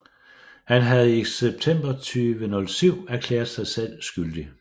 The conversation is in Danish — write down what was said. Han havde i september 2007 erklæret sig selv skyldig